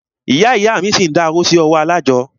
Ìyá ìyá a mí ṣi ń dá owó sí ọwọ́ alájọ́.